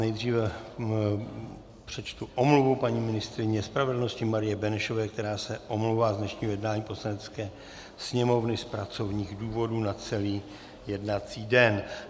Nejdříve přečtu omluvu paní ministryně spravedlnosti Marie Benešové, která se omlouvá z dnešního jednání Poslanecké sněmovny z pracovních důvodů na celý jednací den.